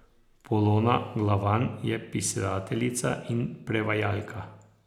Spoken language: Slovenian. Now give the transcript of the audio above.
Polona Glavan je pisateljica in prevajalka.